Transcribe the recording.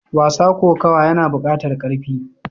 Wasa kokawa yana bukatar karfi.